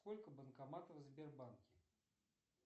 сколько банкоматов в сбербанке